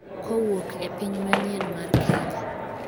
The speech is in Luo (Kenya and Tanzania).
kowuok e piny manyien mar Kenya